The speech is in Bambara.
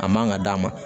A man ka d'a ma